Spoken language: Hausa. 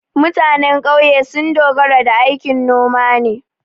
Mutanen ƙauye sun dogara da aikin noma ne.